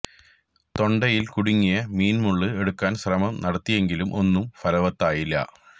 തൊണ്ടയില് കുടുങ്ങിയ മീന് മുള്ള് എടുക്കാന് ശ്രമം നടത്തിയെങ്കിലും ഒന്നും ഫലവത്തായില്ല